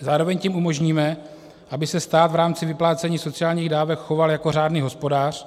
Zároveň tím umožníme, aby se stát v rámci vyplácení sociálních dávek choval jako řádný hospodář,